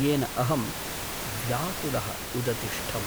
येन अहं व्याकुलः उदतिष्ठम्।